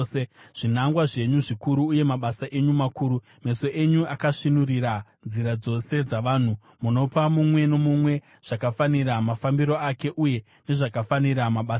zvinangwa zvenyu zvikuru uye mabasa enyu makuru. Meso enyu akasvinurira nzira dzose dzavanhu; munopa mumwe nomumwe zvakafanira mafambiro ake uye nezvakafanira mabasa ake.